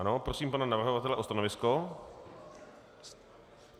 Ano, prosím pana navrhovatele o stanovisko.